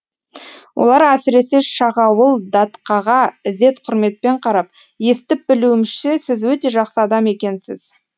олар әсіресе шағауыл датқаға ізет құрметпен қарап естіп білуімізше сіз өте жақсы адам екенсіз